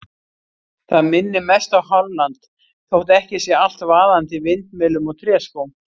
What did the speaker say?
Það minnir mest á Holland þótt ekki sé allt vaðandi í vindmyllum og tréskóm.